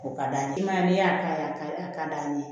O ka d'a ye i m'a ye n'i y'a ka d'an ye